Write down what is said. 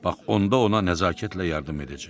Bax onda ona nəzakətlə yardım edəcək.